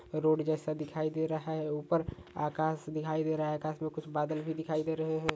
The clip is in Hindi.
रोड जेसा दिखाई दे रहा है ऊपर आकाश दिखाई दे रहा है आकाश मे कुछ बादल भी दिखाई दे रहे है।